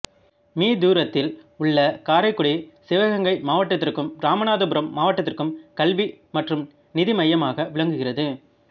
me தூரத்தில் உள்ள காரைக்குடி சிவகங்கை மாவட்டத்திற்கும் இராமநாதபுரம் மாவட்டத்திற்கும் கல்வி மற்றும் நிதி மையமாக விளங்குகிறது